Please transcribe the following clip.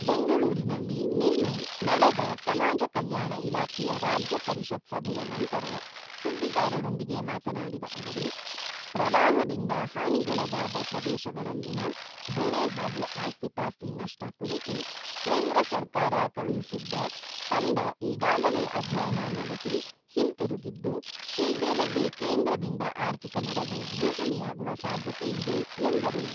ಬೆಂಗಳೂರಿನಲ್ಲಿ ನಿನ್ನೆ ನಡೆದ ಸಮಾಜ ಕಲ್ಯಾಣ ಇಲಾಖೆಯ ರಾಜ್ಯ ಪರಿಷತ್‌ ಸಭೆಯ ನಂತರ ಸುದ್ದಿಗಾರರೊಂದಿಗೆ ಮಾತನಾಡಿದ ಅವರು, ಪ್ರವಾಹದಿಂದ ಹಾನಿಗೊಳಗಾದ ಪ್ರದೇಶಗಳಲ್ಲಿನ ಬೆಳೆ ಹಾಗು ಆಸ್ತಿ-ಪಾಸ್ತಿ ನಷ್ಟ ಕುರಿತು ಕೇಂದ್ರ ಸರ್ಕಾರ ಕಳುಹಿಸಿದ್ದ ತಂಡ ಈಗಾಗಲೇ ಅಧ್ಯಯನ ನಡೆಸಿ, ಹಿಂತಿರುಗಿದ್ದು, ಶೀಘ್ರದಲ್ಲೇ ಕೇಂದ್ರದಿಂದ ಆರ್ಥಿಕ ನೆರವು ಘೋಷಣೆಯಾಗುವ ಸಾಧ್ಯತೆ ಇದೆ ಎಂದರು.